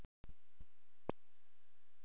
Er veruleikinn sá sem hann sýnist vera?